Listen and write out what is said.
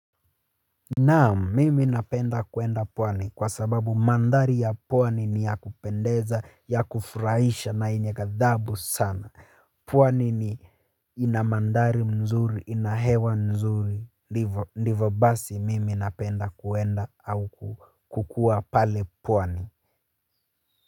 Naam, mimi napenda kuenda pwani kwa sababu mandhari ya pwani ni ya kupendeza, ya kufurahisha na yenye gadhabu sana, pwani ni ina mandhari mzuri ina hewa nzuri, ndivyo ndivyo basi mimi napenda kuenda au kukuwa pale pwani.